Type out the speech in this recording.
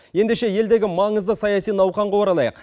ендеше елдегі маңызды саяси науқанға оралайық